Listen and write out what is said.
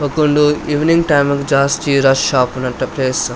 ಬೊಕುಂಡು evening time ಗ್ ಜಾಸ್ತಿ rush ಆಪುನ ನೆಟೆ ಪ್ಲೇಸ್ .